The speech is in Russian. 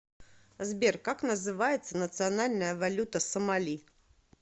сбер как называется национальная валюта сомали